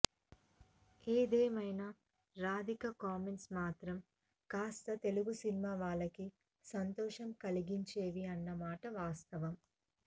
ఏది ఏమైనా రాధిక కామెంట్స్ మాత్రం కాస్తా తెలుగు సినిమా వాళ్లకి సంతోషం కలిగించేవి అన్న మాట వాస్తవం